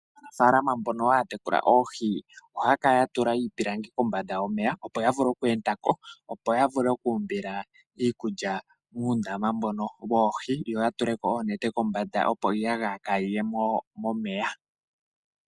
Aanafaalama mbono haa tekula oohi, ohaa kala ya tula iipilangi kombanda yomeya opo ya vule oku enda ko ya umbile oohi dhawo iikulya. Ohaa tula ko woo oonete kombanda opo iiyagaya kaa yiye momeya.